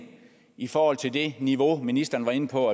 i forhold til det niveau ministeren var inde på